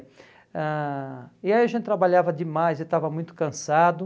ãh E aí a gente trabalhava demais e estava muito cansado.